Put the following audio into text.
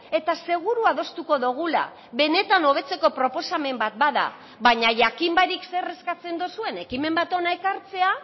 eta seguru adostuko dugula benetan hobetzeko proposamen bat bada baina jakin barik zer eskatzen duzuen ekimen bat hona ekartzea